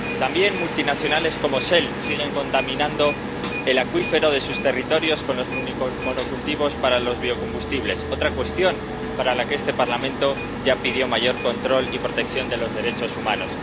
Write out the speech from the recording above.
También multinacionales, como Shell, siguen contaminando el acuífero de sus territorios con los monocultivos para los biocombustibles, otra cuestión para la que este Parlamento ya pidió mayor control y protección de los derechos humanos.